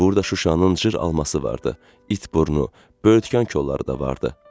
Burda Şuşanın cır alması vardı, it burnu, böyürtkən kolları da vardı.